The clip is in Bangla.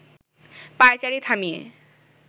পায়চারি থামিয়ে